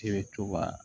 I bɛ to ka